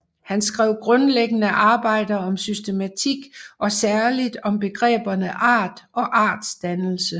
Han skrev grundlæggende arbejder om systematik og særligt om begreberne art og artsdannelse